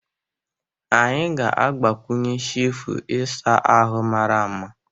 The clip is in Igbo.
Anyị ga-agbakwunye shefu ịsa ahụ mara mma.